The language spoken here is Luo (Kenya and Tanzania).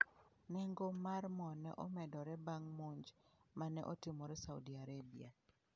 Nengo mar mo ne omedore bang' monj ma ne otimore Saudi Arabia.